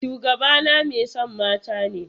Shugabana mai son mata ne.